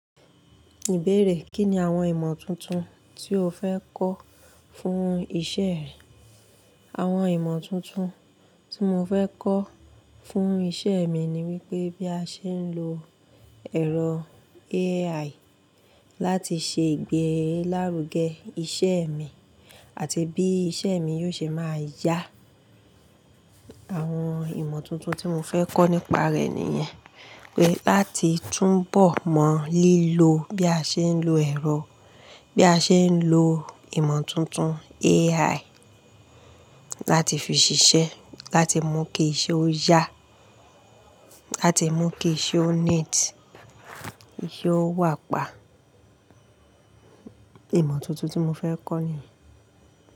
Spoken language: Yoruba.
Ìbéèrè, Kí ni àwon ìmọ̀ tuntun tí o fẹ́ kọ́ fún iṣẹ́ rẹ? Àwọn ìmọ̀ tuntun tí mo fẹ́ kọ́ fún iṣẹ́ mi ni wípé bí a ṣe ń lo ẹ̀rọ AI láti ṣe ìgbé lárugẹ iṣẹ́ mi àti bí iṣẹ́ mi yóò ṣe máa yá. Àwọn ìmọ̀ tuntun tí mo fẹ́ kọ́ nípa rẹ̀ nìyẹn, pé láti túnbọ̀ mọ lílo bí a ṣe ń lo ẹ̀rọ, bí a ṣe ń lo ìmọ̀ tuntun AI láti fi ṣiṣẹ́, láti mú kí iṣẹ́ ó yá, láti mú kí iṣẹ́ ó neat, yóò wà pa. Ìmọ̀ tuntun tí mo fẹ́ kọ́ nìyẹn.